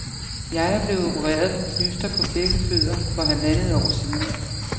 Jeg er blevet opereret for knyster på begge fødder for halvandet år siden.